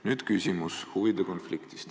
Nüüd küsimus huvide konfliktist.